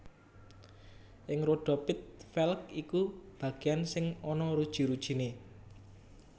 Ing rodha pit velg iku bagéyan sing ana ruji rujiné